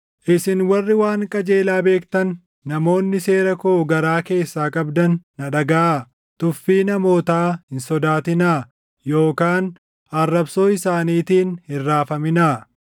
“Isin warri waan qajeelaa beektan namoonni seera koo garaa keessaa qabdan na dhagaʼaa; tuffii namootaa hin sodaatinaa; yookaan arrabsoo isaaniitiin hin raafaminaa.